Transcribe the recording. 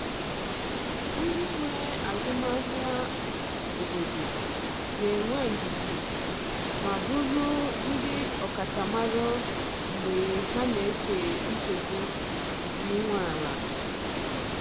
Ndị nwe azụmahịa obodo ga-enwe ndidi ma bụrụ ndị ọkachamara mgbe ha na-eche nsogbu nke ị nwe ala.